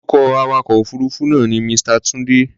Orúkọ awakọ̀ òfuruufú náà ni Mr. Tunde.